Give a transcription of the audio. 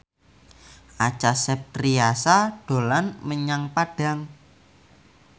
Acha Septriasa dolan menyang Padang